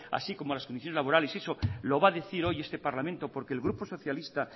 así como las condiciones laborales eso lo va a decir hoy este parlamento porque el grupo socialista